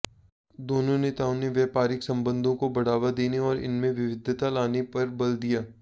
दोनों नेताओं ने व्यापारिक संबंधों को बढ़ावा देने और इनमें विविधता लाने पर बल दिया